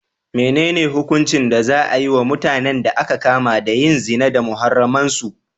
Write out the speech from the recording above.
Menene hukuncin da za a yi wa mutanen da aka kama da yin zina da muharraman su?